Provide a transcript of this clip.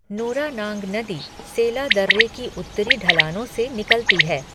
नूरानांग नदी सेला दर्रे की उत्तरी ढलानों से निकलती है।